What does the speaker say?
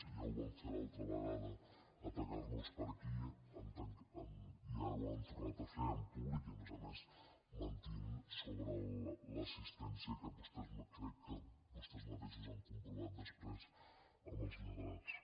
ja ho van fer l’altra vegada d’atacar nos per aquí i ara ho han tornat a fer en públic i a més a més mentint sobre l’assistència que crec que vostès mateixos han comprovat després amb els lletrats